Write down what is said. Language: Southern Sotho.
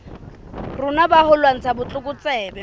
rona ba ho lwantsha botlokotsebe